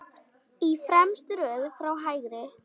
Í fremstu röð frá hægri